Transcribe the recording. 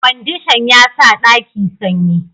Kwandishan ya sa ɗaki sanyi